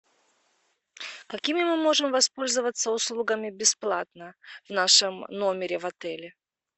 какими мы можем воспользоваться услугами бесплатно в нашем номере в отеле